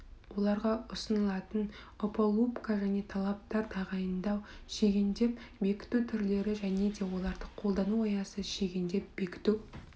оларға ұсынылатын опалубка және талаптар тағайындау шегендеп бекіту түрлері және де оларды қолдану аясы шегендеп бекіту